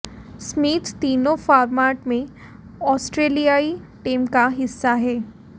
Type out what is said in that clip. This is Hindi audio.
स्मिथ तीनों फारमेट में ऑस्ट्रेलियाई टीम का हिस्सा हैं